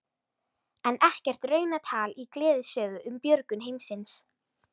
En ekkert raunatal í gleðisögu um björgun heimsins.